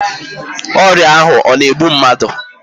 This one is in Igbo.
Ọrịa ahụ ọ na-egbu mmadụ?